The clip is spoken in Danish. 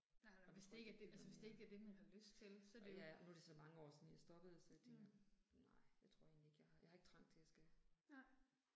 Jeg tror ikke jeg gider mere. Og jeg er nu er det så mange år siden jeg stoppede så det. Nej det tror jeg ikke jeg har, jeg har ikke trang til jeg skal